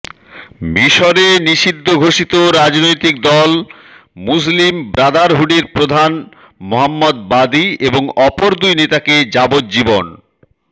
মিশরে নিষিদ্ধ ঘোষিত রাজনৈতিক দল মুসলিম ব্রাদারহুডের প্রধান মোহাম্মাদ বাদি এবং অপর দুই নেতাকে যাবজ্জীবন